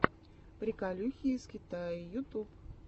приколюхи из китая ютуб